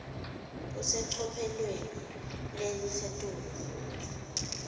kusecophelweni lelisetulu futsi